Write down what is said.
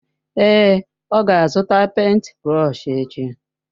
Èé, ọ ga-azụta pèịnt brọsh echi.